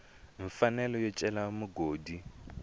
mfanelo yo cela mugodi u